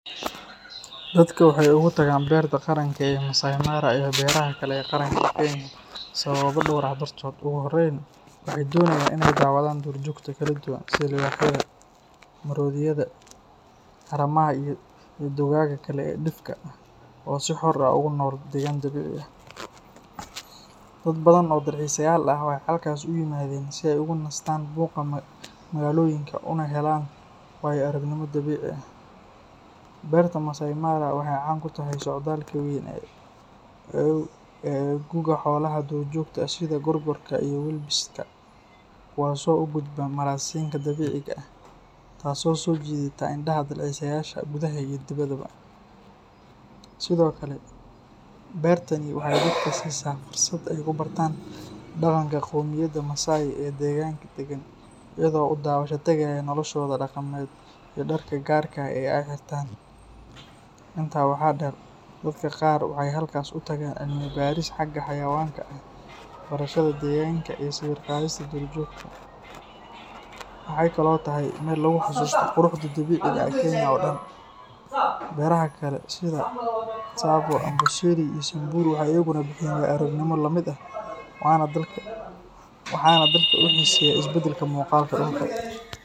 Dadka waxay ugu tagaan Berta Qaranka ee Masai Mara iyo beeraha kale ee qaranka Kenya sababo dhowr ah dartood. Ugu horreyn, waxay doonayaan inay daawadaan duurjoogta kala duwan sida libaaxyada, maroodiyada, haramaha, iyo dugaagga kale ee dhifka ah oo si xor ah ugu nool deegaan dabiici ah. Dad badan oo dalxiisayaal ah waxay halkaas u yimaadaan si ay uga nastaan buuqa magaalooyinka una helaan waayo-aragnimo dabiici ah. Berta Masai Mara waxay caan ku tahay socdaalka weyn ee gu'ga xoolaha duurjoogta sida gorgorka iyo wildebeest-ka kuwaasoo u gudba maraasiinka dabiiciga ah, taas oo soo jiidata indhaha dalxiisayaasha gudaha iyo dibadda. Sidoo kale, beertani waxay dadka siisaa fursad ay ku bartaan dhaqanka qoomiyadda Masai ee deegaanka degan, iyagoo u daawasho tagaya noloshooda dhaqameed iyo dharka gaarka ah ee ay xirtaan. Intaa waxaa dheer, dadka qaar waxay halkaas u tagaan cilmi baaris xagga xayawaanka ah, barashada deegaanka, iyo sawir qaadista duurjoogta. Waxay kaloo tahay meel lagu xasuusto quruxda dabiiciga ah ee Kenya oo dhan. Beeraha kale sida Tsavo, Amboseli, iyo Samburu waxay iyaguna bixiyaan waayo-aragnimooyin la mid ah, waxaana dadka u xiiseeya isbeddelka muuqaalka dhulka.